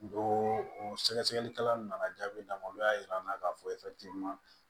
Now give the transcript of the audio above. Don o sɛgɛsɛgɛlikɛlaw nana jaabi d'an ma olu y'a yir'an na k'a fɔ